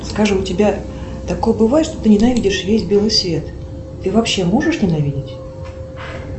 скажи у тебя такое бывает что ты ненавидишь весь белый свет ты вообще можешь ненавидеть